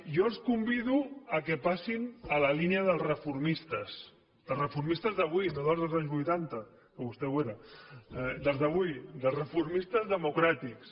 jo els convido que passin a la línia dels reformistes dels reformistes d’avui no dels dels anys vuitanta que vostè ho era dels d’avui dels reformistes democràtics